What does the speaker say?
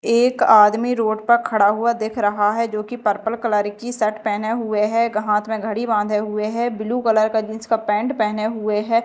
एक आदमी रोड पर खड़ा हुआ दिख रहा है जो कि पर्पल कलर की शर्ट पहने हुए है एक हाथ में घड़ी बांधे हुए है ब्लू कलर का जींस का पैंट पहने हुए है।